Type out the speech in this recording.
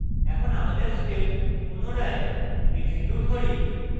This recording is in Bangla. এখন আমাদের script পুনরায় execute করি